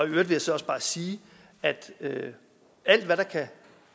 jeg så også bare sige at alt hvad der kan